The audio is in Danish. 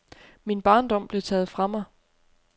Min barndom blev taget fra mig.